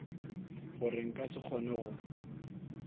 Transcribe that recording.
gore nka se kgone go